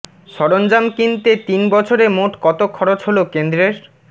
সরঞ্জাম কিনতে তিন বছরে মোট কত খরচ হল কেন্দ্রের